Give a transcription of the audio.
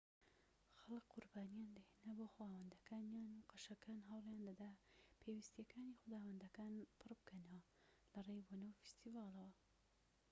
خەلکی قوربانییان دەهێنا بۆ خوداوەندەکانیان و قەشەکان هەوڵیان دەدا پێویستیەکانی خوداوەندەکان پڕ بکەنەوە لەڕێی بۆنە و فیستیڤاڵەوە